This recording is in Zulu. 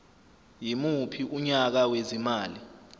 yimuphi unyaka wezimali